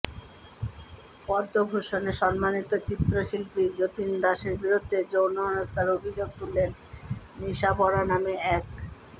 পদ্মভূষণে সম্মানিত চিত্রশিল্পী যতীন দাসের বিরুদ্ধে যৌন হেনস্থার অভিযোগ তুললেন নিশা বরা নামে এক